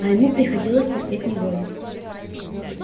а ему приходилось терпеть неволю